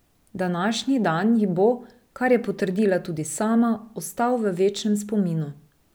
Današnji dan ji bo, kar je potrdila tudi sama, ostal v večnem spominu.